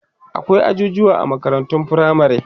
akwai ajujuwa a makarantun firamare